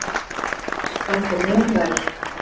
Flestar aðrar standa mun verr.